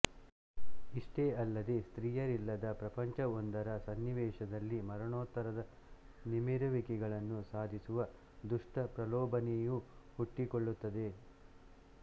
ಇಷ್ಟೇ ಅಲ್ಲದೇ ಸ್ತ್ರೀಯರಿಲ್ಲದ ಪ್ರಪಂಚವೊಂದರ ಸನ್ನಿವೇಶದಲ್ಲಿ ಮರಣೋತ್ತರದ ನಿಮಿರುವಿಕೆಗಳನ್ನು ಸಾಧಿಸುವ ದುಷ್ಟ ಪ್ರಲೋಭನೆಯು ಹುಟ್ಟಿಕೊಳ್ಳುತ್ತದೆ